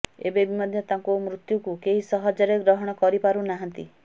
ଏବେବି ମଧ୍ୟ ତାଙ୍କୁ ମୃତ୍ୟୁକୁ କେହି ସହଜରେ ଗ୍ରହଣ କରିପାରୁ ନାହାନ୍ତି